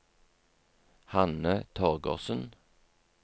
Hanne Torgersen